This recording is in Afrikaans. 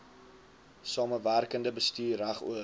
samewerkende bestuur regoor